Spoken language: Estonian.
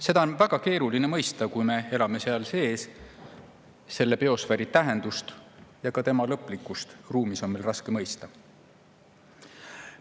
Seda on väga keeruline mõista, kui me elame seal sees – selle biosfääri tähendust ja ka tema lõplikkust ruumis on meil raske mõista.